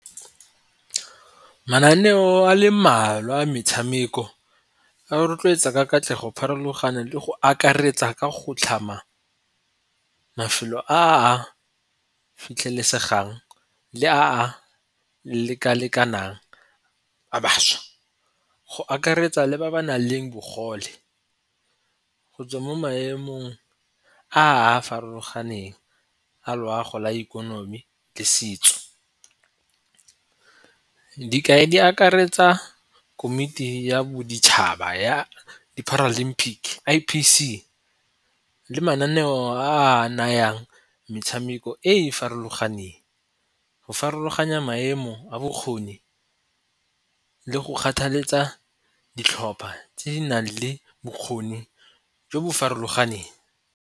Mananeo a le mmalwa a metshameko a rotloetsa ka katlego pharologano le go akaretsa ka go tlhama mafelo a a fitlhelesegang le a a leka-lekanang a bašwa. Go akaretsa le ba ba nang le bogole go tswa mo maemong a a farologaneng a loago la ikonomi le setso. Dikai di akaretsa komiti ya boditšhaba ya di-paralympic I_P_C le mananeo a a nayang metshameko e e farologaneng, go farologanya maemo a bokgoni le go kgathaletsa ditlhopha tse di nang le bokgoni jo bo farologaneng.